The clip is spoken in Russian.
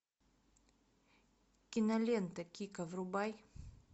кинолента кико врубай